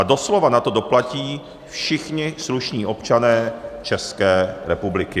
A doslova na to doplatí všichni slušní občané České republiky.